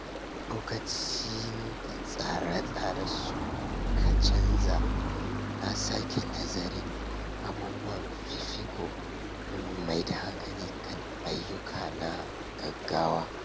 Lokacin da tsare-tsare suka canza, na sake nazarin abubuwan fifiko domin maida hankali a kan ayyuka na gaugawa.